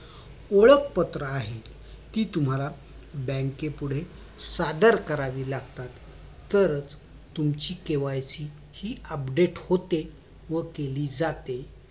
ओळखपत्र आहेत ती तुम्हाला बँकेपुढे सादर करावी लागतात तर तुमची KYC हि update होते व केली जाते